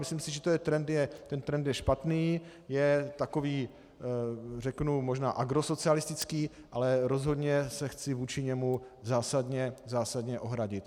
Myslím si, že ten trend je špatný, je takový, řeknu, možná agrosocialistický, ale rozhodně se chci vůči němu zásadně ohradit.